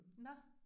Nåh